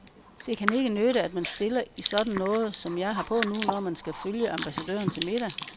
Det kan ikke nytte, at man stiller i sådan noget, som jeg har på nu, når man skal følge ambassadøren til middag.